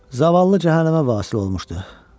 Zavallı cəhənnəmə vasil olmuşdur.